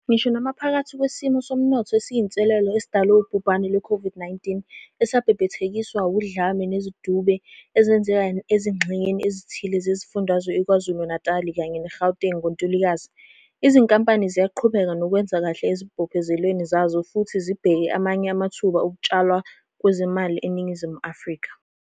Ngisho namaphakathi kwesimo somnotho esiyinselelo esidalwe wubhubhane lwe COVID-19, esabhebhethekiswa udlame nezidube ezenzeka ezingxenyeni ezithile zezifundazwe i-KwaZulu Natali kanye ne-Gauteng ngoNtulikazi, izinkampani ziyaqhubeka nokwenza kahle ezibophezelweni zazo futhi zibheke amanye amathuba okutshalwa kwezimali eNingizimu Afrika.